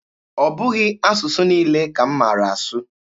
Ọ bụghị asụsụ niile ka m maara asụ.